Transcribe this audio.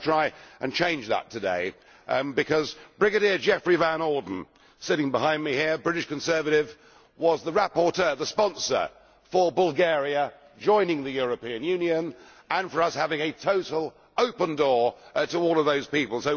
I want to try and change that today because Brigadier Geoffrey Van Orden sitting behind me here, British Conservative, was the rapporteur, the sponsor for Bulgaria joining the European Union and for us having a total open door to all of those people.